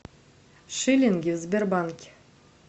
шиллинги в сбербанке